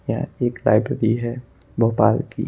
यह एक लाइब्रेरी है भोपाल की।